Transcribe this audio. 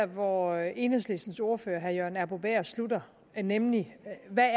hvor enhedslistens ordfører herre jørgen arbo bæhr sluttede nemlig med hvad